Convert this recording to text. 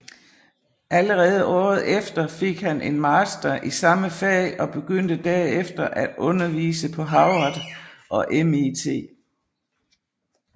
Allerede året efter fik han en Master i samme fag og begyndte derefter at undervise på Harvard og MIT